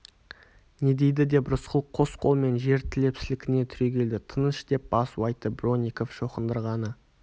не дейді деп рысқұл қос қолымен жер тіреп сілкіне түрегелді тыныш деп басу айтты бронников шоқындырғаны